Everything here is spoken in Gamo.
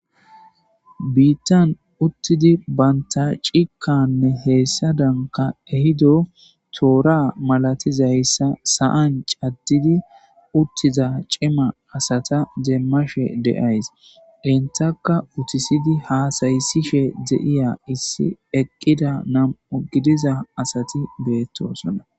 Bitan utidi banta cikka hesadankka ehido tora malatizaysa sa'an cadidi utida cimma Asata demashe de'ayis entakka utisidi hasaysishe de,eya issi eqida nam'u gidiza asati betosona